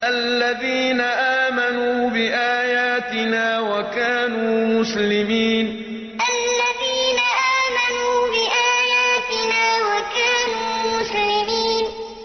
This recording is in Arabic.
الَّذِينَ آمَنُوا بِآيَاتِنَا وَكَانُوا مُسْلِمِينَ الَّذِينَ آمَنُوا بِآيَاتِنَا وَكَانُوا مُسْلِمِينَ